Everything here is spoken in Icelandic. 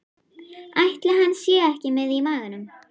Ætli hann sé ekki með í maganum?